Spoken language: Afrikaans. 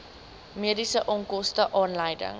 mediese onkoste aanleiding